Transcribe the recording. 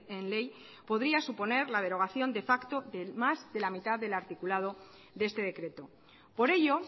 en ley podría suponer la derogación de facto de más de la mitad del articulado de este decreto por ello